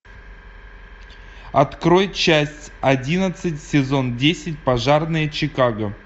открой часть одиннадцать сезон десять пожарные чикаго